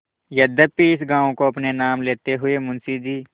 यद्यपि इस गॉँव को अपने नाम लेते समय मुंशी जी